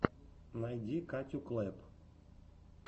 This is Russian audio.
найди катю клэпп